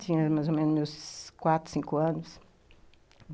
Tinha mais ou menos quatro, cinco anos.